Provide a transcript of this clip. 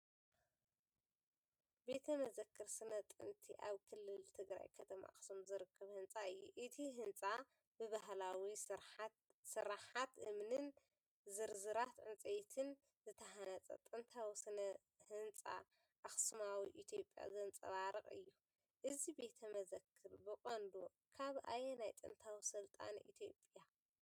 ቤተ መዘክር ስነ ጥንቲ ኣብ ክልል ትግራይ ከተማ ኣኽሱም ዝርከብ ህንፃ እዩ። እቲ ህንጻ፡ ብባህላዊ ስርሓት እምንን ዝርዝራት ዕንጨይቲን ዝተሃንጸ ጥንታዊ ስነ ህንጻ ኣኽሱማዊ ኢትዮጵያ ዘንጸባርቕ እዩ። እዚ ቤተ መዘክር ብቐንዱ ካብ ኣየናይ ጥንታዊ ስልጣነ ኢትዮጵያ?